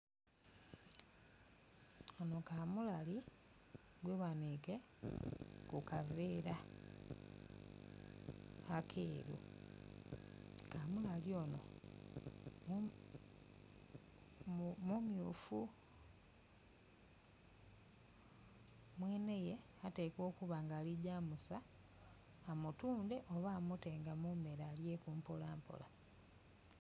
Ono kamulali gwebanike ku kaveera akeeru kamulali ono mu myufu. Mweneye atekwa okuba nga aligya kusa amutunde oba amutenga mu mere alyeku mpolampola.